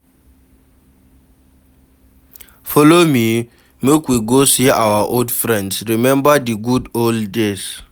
Folo me make we go see our old friends, rememba di good old days.